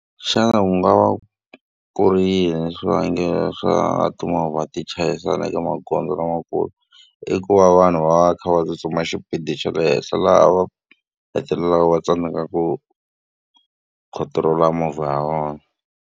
Xana ku nga va ku ri yini swivangelo swa timovha ti chayisana eka magondzo lamakulu? I ku va vanhu va va va kha va tsutsuma xipidi xa le henhla laha va hetelelaka va tsandzekaku control-a movha ya vona.